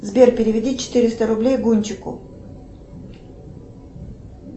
сбер переведи четыреста рублей гончику